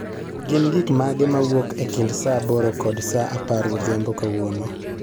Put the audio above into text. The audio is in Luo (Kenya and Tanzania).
Gin gik mage mawuok e kind saa aboro kod saa apar odhiambo kawuono